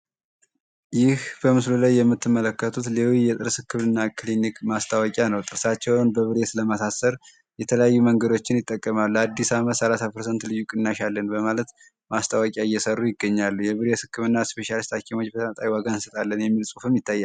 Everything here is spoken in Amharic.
ይህ በምስሉ የምትመለከቱት ሌዊ የጥርስ ህክምና ማስታወቂያ ነው። ጥርሳቸውን በብሬስ ለማሳሰር የተለያዩ መንገዶችን ይጠቀማሉ። ለአዲስ አመት ሰላሳ ፐርሰንት ልዩ ቅናሽ አለን በማለት ማስታወቂያ እየሰሩ ይገኛሉ። የብሬስ ህክምና ስፔሻሊስት ሀኪሞች በነፃ ዋጋ እንሰጣለን የሚል ፅሁፍም ይታያል።